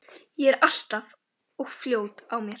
Ég er alltaf of fljót á mér.